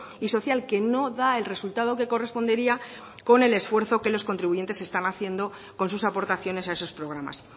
y social que no da el resultado que correspondería con el esfuerzo que los contribuyentes están haciendo con sus aportaciones a esos programas